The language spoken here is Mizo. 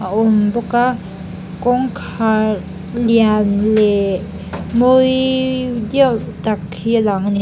a awm bawk a kawngkhâr lian lehhh mawiii diau tak hi a lang a ni.